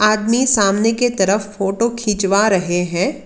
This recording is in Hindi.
आदमी सामने के तरफ फोटो खिंचवा रहे हैं।